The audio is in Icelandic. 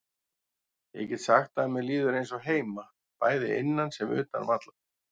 Ég get sagt það að mér líður eins og heima, bæði innan sem utan vallar.